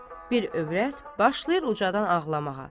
Bir övrət başlayır ucadan ağlamağa.